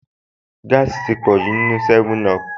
Gáàsì ti pọ̀jù nínúu 7up